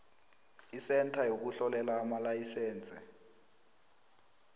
isentha yokuhlolela amalayisense